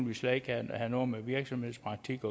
vi slet ikke have noget med virksomhedspraktik